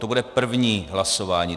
To bude první hlasování.